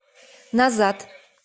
назад